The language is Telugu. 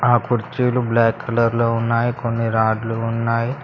ఆ కుర్చీలు బ్లాక్ కలర్ లో ఉన్నాయ్ కొన్ని రాడ్లు ఉన్నాయ్.